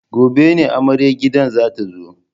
Gobe ne amaryar gidan za ta zo.